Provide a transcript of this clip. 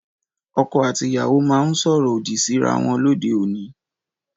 Ọkọ àti ìyàwó máhun soro odi Si rà wọn lóde òní